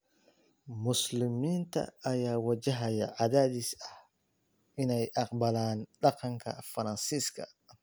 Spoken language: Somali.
Muslimiinta ayaa wajahaya cadaadis ah inay aqbalaan dhaqanka Faransiiska